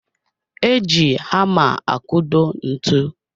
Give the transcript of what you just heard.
E ji hama akudo ntụ